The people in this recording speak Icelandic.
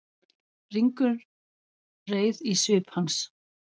Ringulreið í svip hans.